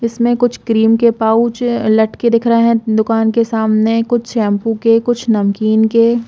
इसमें कुछ क्रीम के पाउच लटके दिख रखे है दुकान के सामने कुछ शैम्पू के कुछ नमकीन के --